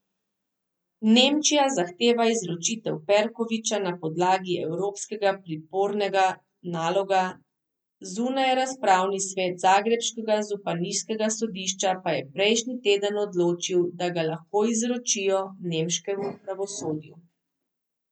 Nemčija zahteva izročitev Perkovića na podlagi evropskega pripornega naloga, zunajrazpravni svet zagrebškega županijskega sodišča pa je prejšnji teden odločil, da ga lahko izročijo nemškemu pravosodju.